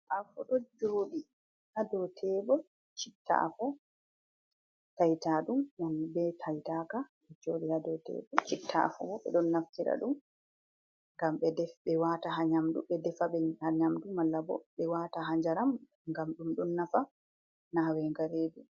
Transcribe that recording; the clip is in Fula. Afo, ɗo jooɗi haa dow tebur, citta afo taytaɗum, be taytaka ɗo jooɗi a dow tebur. Citta afo bo, ɓe ɗon naftira ɗum, ngam ɓe waata haa nyamdu, ɓe defa haa nyamdu malla bo, ɓe waata haa njaram, ngam ɗum ɗon nafa naawenga reedu.